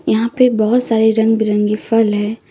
यहां पे बहोत सारे रंग बिरंगे फल है।